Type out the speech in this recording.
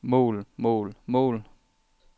mål mål mål